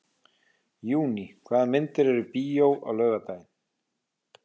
Júní, hvaða myndir eru í bíó á laugardaginn?